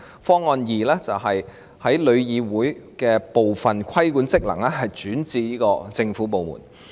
方案二，把旅議會部分規管職能轉至政府部門。